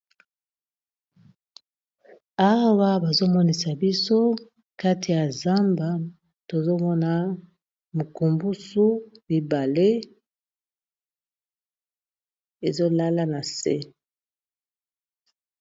Awa bazomonisa biso kati ya zamba tozo mona mukumbusu mibale ezolala na se.